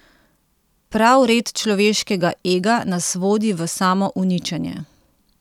Prav red človeškega ega nas vodi v samouničenje.